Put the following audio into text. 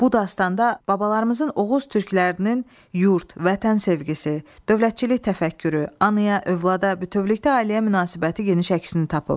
Bu dastanda babalarımızın Oğuz türklərinin yurt, vətən sevgisi, dövlətçilik təfəkkürü, anaya, övlada, bütövlükdə ailəyə münasibəti geniş əksini tapıb.